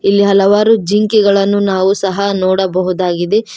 ಇಲ್ಲಿ ಹಲವಾರು ಜಿಂಕೆಗಳನ್ನು ನಾವು ಸಹ ನೋಡಬಹುದಾಗಿದೆ.